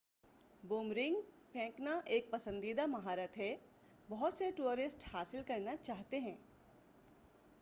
boomerang پھیکنا ایک پسندیدہ مہارت ہے بہت سے ٹورسٹ حاصل کرنا چاہتے ہیں